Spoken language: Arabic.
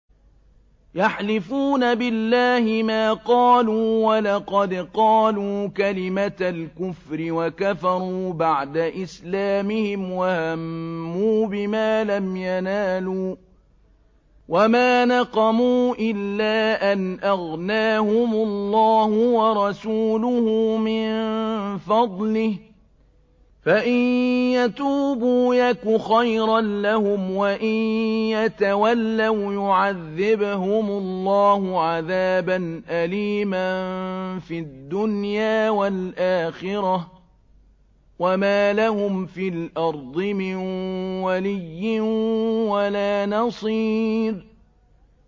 يَحْلِفُونَ بِاللَّهِ مَا قَالُوا وَلَقَدْ قَالُوا كَلِمَةَ الْكُفْرِ وَكَفَرُوا بَعْدَ إِسْلَامِهِمْ وَهَمُّوا بِمَا لَمْ يَنَالُوا ۚ وَمَا نَقَمُوا إِلَّا أَنْ أَغْنَاهُمُ اللَّهُ وَرَسُولُهُ مِن فَضْلِهِ ۚ فَإِن يَتُوبُوا يَكُ خَيْرًا لَّهُمْ ۖ وَإِن يَتَوَلَّوْا يُعَذِّبْهُمُ اللَّهُ عَذَابًا أَلِيمًا فِي الدُّنْيَا وَالْآخِرَةِ ۚ وَمَا لَهُمْ فِي الْأَرْضِ مِن وَلِيٍّ وَلَا نَصِيرٍ